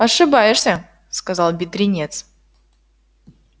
ошибаешься сказал бедренец